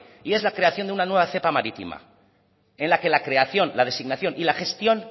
y es la creación de una nueva cepa marítima en la que la creación la designación y la gestión